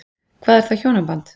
Hvað er þá hjónaband?